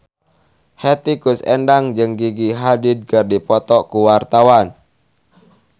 Hetty Koes Endang jeung Gigi Hadid keur dipoto ku wartawan